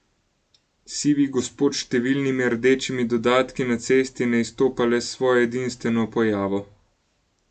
Sivi gospod s številnimi rdečimi dodatki na cesti ne izstopa le s svojo edinstveno pojavo.